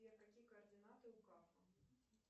сбер какие координаты у кафа